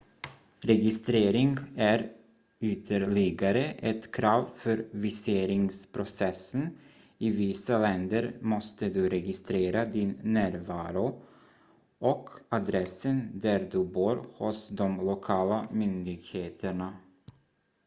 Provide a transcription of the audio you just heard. registrering är ytterligare ett krav för viseringsprocessen i vissa länder måste du registrera din närvaro och adressen där du bor hos de lokala myndigheterna